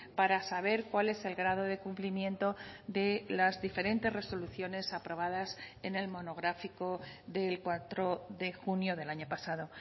para saber cuál es el grado de cumplimiento de las diferentes resoluciones aprobadas en el monográfico del cuatro de junio del año pasado